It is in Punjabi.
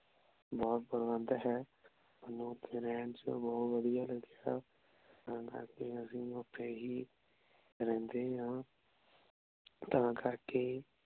ਬੋਹ ਪ੍ਰਬੰਦ ਹੈ ਸਾਨੂ ਓਥੇ ਰੇਹਾਨ ਚ ਬੋਹਤ ਵਾਦਿਯ ਲਾਗ੍ਯ ਤਾਂ ਕਰ ਕੀ ਅਸੀਂ ਓਥੇ ਹੀ ਰੇਹ੍ਨ੍ਡੇ ਆਂ ਤਾਂ ਕਰ ਕੇ